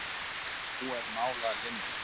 En nú er mál að linni